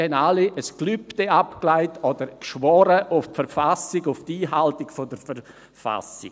Sie haben alle ein Gelübde abgelegt oder auf die Verfassung geschworen, auf die Einhaltung der Verfassung.